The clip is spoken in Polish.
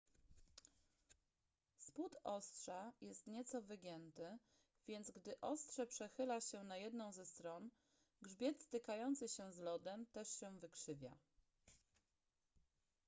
spód ostrza jest nieco wygięty więc gdy ostrze przechyla się na jedną ze stron grzbiet stykający się z lodem też się wykrzywia